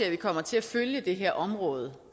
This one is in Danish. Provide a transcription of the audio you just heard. at vi kommer til at følge det her område